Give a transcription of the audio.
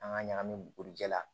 An ka ɲagami bugurijɛ la